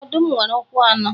Ọdum nwere ukwu anọ